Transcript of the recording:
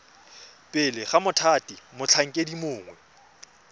pele ga mothati motlhankedi mongwe